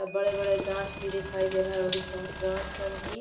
अ बड़े-बड़े गांछ भी दिखाई दे रहल बड़ी स। गांछ जौन की --